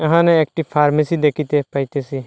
এখানে একটি ফার্মেসি দেখিতে পাইতেসি।